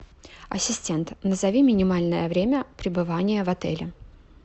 ассистент назови минимальное время пребывания в отеле